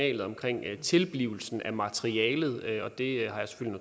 en meget